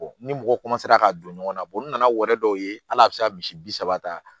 ni mɔgɔ ka don ɲɔgɔn na n nana wari dɔw ye hali a bɛ se ka misi bi saba ta